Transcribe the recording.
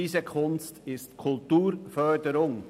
Diese Kunst ist zweifellos Kulturförderung.